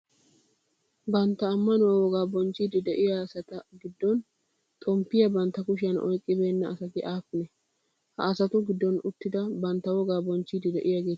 Bantta ammanuwaa wogaa bonchchiidi de'iyaa asati giddon xomppiyaa bantta kushiyan oyiqqibeenna asati aappunee? Ha asatu giddon uttidi bantta wogaa bochchiiddi de'iyaageeti aappunee?